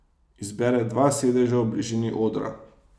Izbere dva sedeža v bližini odra.